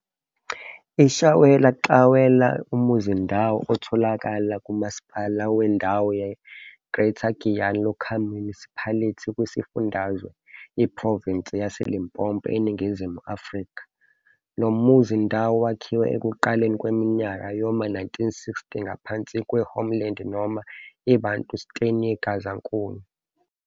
IShawela, Xawela, umuzindawo otholakala kuMasipala wendawo ye-Greater Giyani Local Municipality kwisifundazwe, iprovinsi yase-Limpopo eNingizimu Afrika. Lo muzindawo wakhiwa ekuqaleni kweminyaka yoma 1960 ngaphansi kwe-homeland noma i-bantustan yeGazankulu.